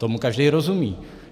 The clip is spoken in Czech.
Tomu každý rozumí.